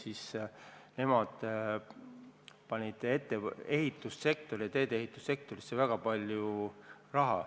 Siis panid nemad ehitus- ja teedeehitussektorisse väga palju raha.